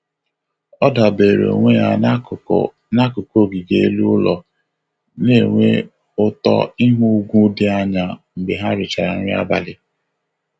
Ọ dabere onwe ya n'akụkụ n'akụkụ ogige elu ụlọ, na-enwe ụtọ ịhụ ugwu dị anya mgbe ha richara nri abalị.